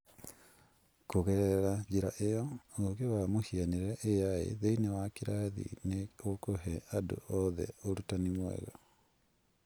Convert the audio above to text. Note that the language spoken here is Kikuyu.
Kũgerera njĩra ĩyo, ũũgĩ wa mũhianĩre(AI) thĩinĩ wa kĩrathi nĩ ũkũhe andũ othe ũrutani mwega